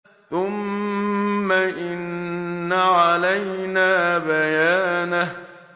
ثُمَّ إِنَّ عَلَيْنَا بَيَانَهُ